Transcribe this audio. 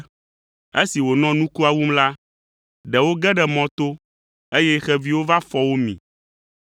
Esi wònɔ nukua wum la, ɖewo ge ɖe mɔ to, eye xeviwo va fɔ wo mi.